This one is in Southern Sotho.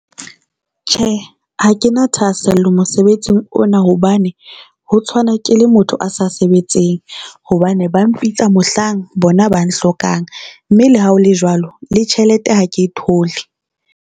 Tjhe, ha ke na thahasello mosebetsing ona hobane ho tshwana ke le motho a sa sebetseng hobane ba mpitsa mohlang bona ba nhlokang. Mme le ha o le jwalo, le tjhelete ha ke e thole.